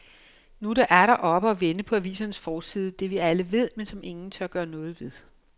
Nu er det atter oppe og vende på avisernes forside, det vi alle ved, men som ingen gør noget ved.